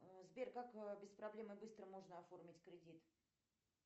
сбер как без проблем и быстро можно оформить кредит